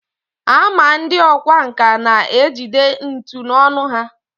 a ma ndị ọkwá nkà na-ejide ntu n’ọnụ ha